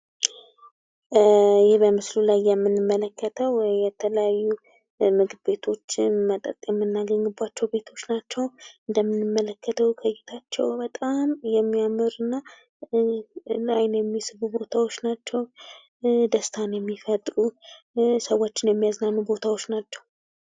ይህ በምስሉ ላይ የምንመለከተው የተለያዩ ምግብ ቤቶችን መጠጥ የምናገኝባቸው ቤቶች ናቸው። እንደምንመለከተው እይታቸው በጣም የሚያምር እና ለአይን የሚስቡ ቦታዎች ናቸው ። ደስታን የሚፈጥሩ ሰዎችን የሚያዝናኑ ቦታዎች ናቸው ።